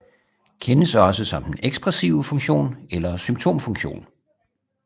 Kendes også som den ekspressive funktion eller symptomfunktion